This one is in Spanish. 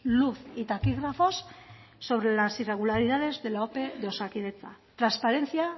luz y taquígrafos son las irregularidades de la ope de osakidetza transparencia